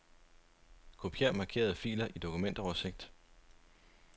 Kopier markerede filer i dokumentoversigt.